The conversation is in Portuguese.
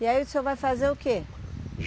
E aí o senhor vai fazer o quê?